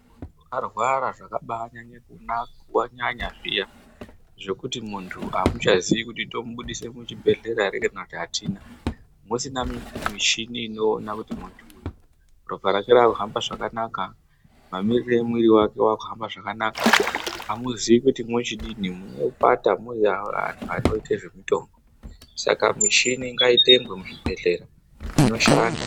Kana muntu arwara zvakaba anyanya zviya zvekuti muntu amuchaziyi kuti tomubudise muchibhehlera ere kana kuti atina, musina michini inoona kuti munhu uyu ropa rake raakuhamba zvakanaka, mamirire emwiri wake wakuhambe zvakanaka amuzii kuti mwochidini munopata muri antu anoite zvemitombo. saka michini ngaitengwe muzvibhelhera inoshanda